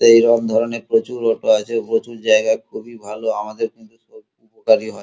এইরম ধরণের প্রচুর অটো আছে প্রচুর জায়গা খুবই ভাল আমাদের কিন্তু খুব উপকারী হয়।